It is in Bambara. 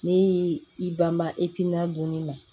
Ne y'i banba ekina donni na